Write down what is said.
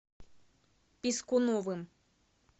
пискуновым